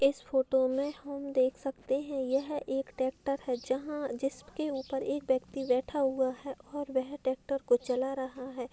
इस फोटो में हम देख सकते हैं यह एक ट्रेक्टर है जहाँ जिसके ऊपर एक व्यक्ति बैठा हुआ है और वह ट्रेक्टर को चला रहा है।